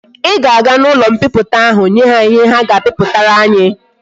I ga aga na ulo mkpiputa ahu nye ha ihe ha ga akpiputara ya!